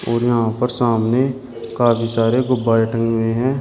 और यहाँ पर सामने काफ़ी सारे गुब्बारे टंगे हुए हैं।